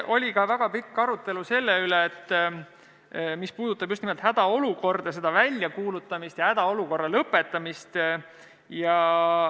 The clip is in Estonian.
Oli ka väga pikk arutelu selle üle, mis puudutab just nimelt hädaolukorda, selle väljakuulutamist ja lõpetamist.